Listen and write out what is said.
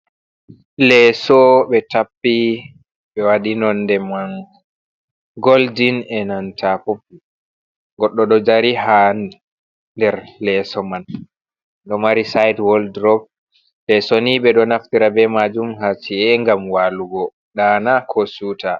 Leeso ɓe tappi ɓe waɗi nonde man goldin e nanta popul, goɗɗo ɗo dari haa nder leeso man, do mari sayit woddurop, leeso nii ɓe ɗo naftira bee maajum haa ci'e ngam waalugo ɗaana koo siwta.